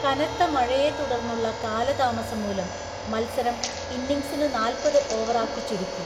കനത്ത മഴയെ തുടർന്നുള്ള കാലതാമസം മൂലം മത്സരം ഇന്നിങ്ങ്സിനു നാല്‍പത് ഓവറാക്കി ചുരുക്കി.